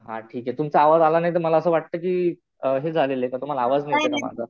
हा ठीक आहे. तुमचा आवाज आला नाही तर मला असं वाटलं कि हे झालेलं का तुम्हाला आवाज नाही येत माझा.